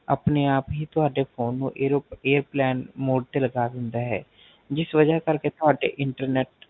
ਆਪਣੇ ਆਪ ਹੀ ਤੁਹਾਡੇ Phone ਨੂੰ Airo Airplane Mode ਤੇ ਲਗਾ ਦੇਂਦਾ ਹੈ ਜਿਸ ਵਜਾ ਕਰ ਕੇ ਤੁਹਾਡੇ Internet